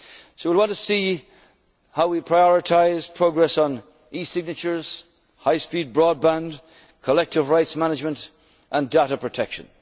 carries with it. We will want to see how we prioritise progress on e signatures, high speed broadband, collective rights management, and